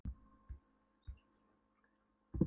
Fyrir þessar upplýsingar borga þeir fúlgur fjár.